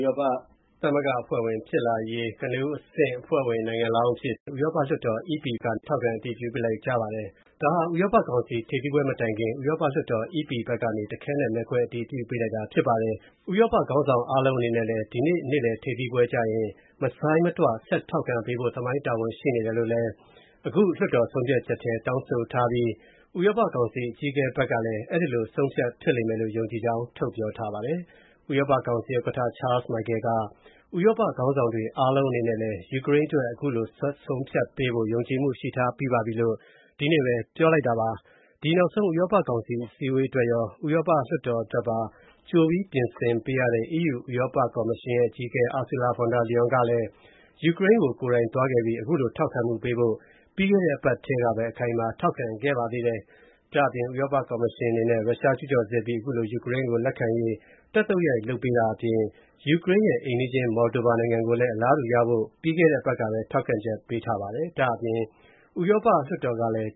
ရောပသမဂ္ဂအဖွဲ့ဝင်ဖြစ်လာရေး ကနဦးအဆင့် အဖွဲ့ဝင်နိုင်ငံလောင်းအဖြစ် ထောက်ခံ အတည်ပြုပေးလိုက်ကြပါတယ်။ ဒါဟာ ဥရောပကောင်စီ ထိပ်သီးပွဲမတိုင်ခင် ဥရောပလွှတ်တော် (EP) ဘက်က တခဲနက် မဲခွဲ အတည်ပြုပေးလိုက်တာ ဖြစ်ပါတယ်။ ဥရောပခေါင်းဆောင်အားလုံးအနေနဲ့လည်း ဒီနေ့ နေ့လယ်ထိပ်သီးပွဲမှာ မဆိုင်းမတွ ဆက်ထောက်ခံပေးဖို့ သမိုင်းဝင်တာဝန်ရှိတယ်လို့ အခု လွှတ်တော်ဆုံးဖြတ် ချက်ထဲ တောင်းဆိုထားပြီး ဥရောပကောင်စီ အကြီးအကဲကလည်း အဲဒီလို ဆုံးဖြတ်ဖြစ်လိမ့်မယ်လို့ ယုံကြည်ကြောင်း ပြောဆိုပါတယ်။ ဥရောပကောင်စီ ဥက္ကဋ္ဌ Charles Michel က ဥရောပခေါင်းဆောင်တွေ အားလုံးအနေနဲ့လည်း ယူကရိန်းအတွက် အခုလို ဆက်ဆုံးဖြတ်ပေးဖို့ ယုံကြည်မူ ရှိထားပြီးပါပြီလို့ ဒီနေ့ပဲ ပြောလိုက်ပါတယ်။ ဒီ နောက်ဆုံး ဥရောပကောင်စီ အစည်းအဝေးအတွက်ရော၊ ဥရောပလွှတ်တော်အတွက်ပါ ကြိပြင်ပေးရတဲ့ EC ဥရောပကော်မရှင်ရဲ့ အကြီးအကဲ Ursula von der Leyen ကလည်း ယူကရိန်းကို ကိုယ်တိုင်သွားခဲ့ပြီး အခုလို ထောက်ခံမှုပေးဖို့ ပြီးခဲ့တဲ့အပတ်ကပဲ အခိုင်အမာ ထောက်ခံခဲ့ပါသေးတယ်။ ဥရောပကော်မရှင်အနေနဲ့ ရုရှားကျူးကျော်စစ်အပြီး အခုလို ယူကရိန်းကို လက်ခံရေး တက်သုတ်ရိုက် လုပ်ပေးတာအပြင် ယူကရိန်းရဲ့အိမ်နီးချင်း Moldova နိုင်ငံကိုလည်း အလားတူရဖို့ ပြီးခဲ့တဲ့အပတ်ကပဲ ထောက်ခံချက်ပေးထားပါတယ်။ ဒါ့အပြင် ဥရောပလွှတ်တော်ကလည်း